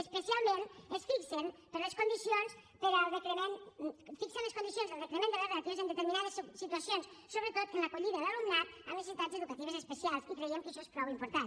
especial ment fixen les condicions del decrement de les ràtios en determinades situacions sobretot en l’acollida d’alumnat amb necessitats educatives especials i creiem que això és prou important